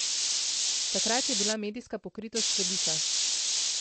Takrat je bila medijska pokritost velika.